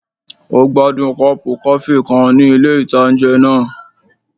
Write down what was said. Ó gbádùn kọ́ọ̀pù kọfí kan ní ilé-ìtánjẹ náà